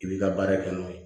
I b'i ka baara kɛ n'o ye